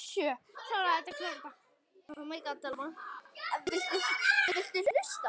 Mamma reyndi að róa hana.